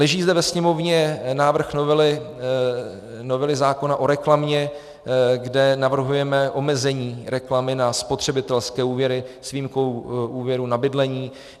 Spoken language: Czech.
Leží zde ve Sněmovně návrh novely zákona o reklamě, kde navrhujeme omezení reklamy na spotřebitelské úvěry s výjimkou úvěrů na bydlení.